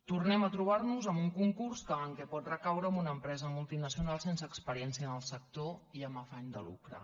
tornem a trobar nos amb un concurs que pot recaure en una empresa multinacional sense experiència en el sector i amb afany de lucre